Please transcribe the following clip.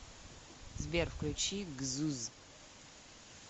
сбер включи гзуз